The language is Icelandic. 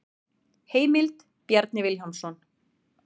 Heimild: Bjarni Vilhjálmsson.